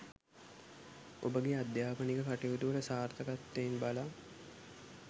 ඔබගේ අධ්‍යාපනික කටයුතුවල සාර්ථකත්වයන් බලා